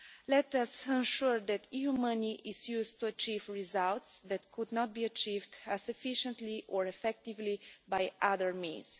Let us ensure that EU money is used to achieve results that could not be achieved as efficiently or effectively by other means.